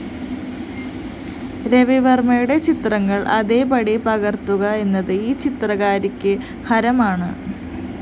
രവിവര്‍മ്മയുടെ ചിത്രങ്ങള്‍ അതേപടി പകര്‍ത്തുക എന്നത്‌ ഈ ചിത്രകാരിക്ക്‌ ഹരമാണ്‌